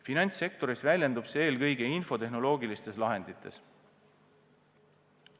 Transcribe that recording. Finantssektoris väljendub see eelkõige infotehnoloogilistes lahendites.